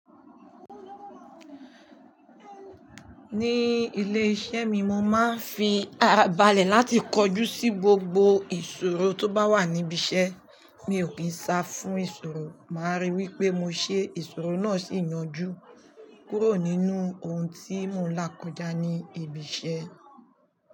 Ní ilé iṣẹ́ mi, mo máa ń fi arabale láti kojú sí gbogbo ìṣòro tó bá wà níbi iṣẹ́. Mi ò kí ń sá fún ìṣòro, màá ríi wí pé mo ṣe ìṣòro náà sì yanjú kúrò nínú ohun tí mo n là kọjá ní ibi iṣẹ́.